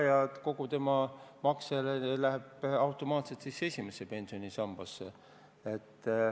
Ja kogu tema makse läheb siis automaatselt esimesse pensionisambasse.